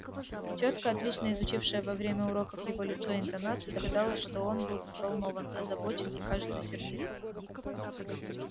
тётка отлично изучившая во время уроков его лицо и интонацию догадалась что он был взволнован озабочен и кажется сердит